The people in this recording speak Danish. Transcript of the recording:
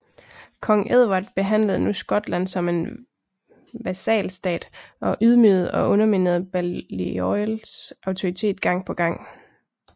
Kong Edvard behandlede nu Skotland som en vasalstat og ydmygede og underminerede Balliols autoritet gang på gang